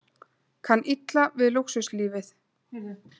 Kann illa við lúxuslífið